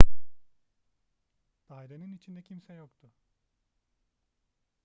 dairenin içinde kimse yoktu